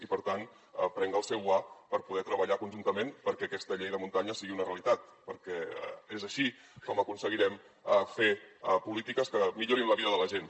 i per tant prenc el seu guant per poder treballar conjuntament perquè aquesta llei de muntanya sigui una realitat perquè és així com aconseguirem fer polítiques que millorin la vida de la gent